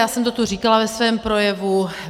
Já jsem to tu říkala ve svém projevu.